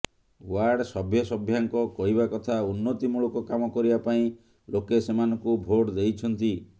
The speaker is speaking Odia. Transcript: ୱାର୍ଡ ସଭ୍ୟସଭ୍ୟା ଙ୍କ କହିବା କଥା ଉନ୍ନତିମୂଳକ କାମ କରିବା ପାଇଁ ଲୋକେ ସେମାନଙ୍କୁ ଭୋଟ ଦେଇଛନ୍ତି